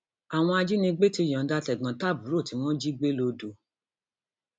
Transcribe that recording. àwọn ajànigbé ti yọǹda tẹgbọntàbúrò tí wọn jí gbé lodò